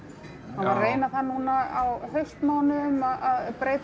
reyna það núna á haustmánuðum að